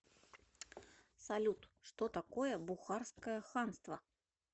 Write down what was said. салют что такое бухарское ханство